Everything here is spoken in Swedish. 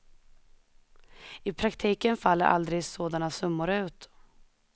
I praktiken faller aldrig sådana summor ut.